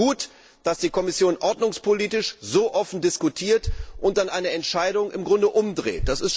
Und ich finde es gut, dass die Kommission ordnungspolitisch so offen diskutiert und dann eine Entscheidung im Grunde umdreht.